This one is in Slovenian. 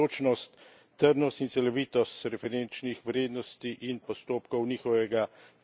trdnost in celovitost referenčnih vrednosti in postopkov njihovega določanja.